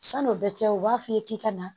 San'o bɛɛ kɛ u b'a f'i ye k'i ka na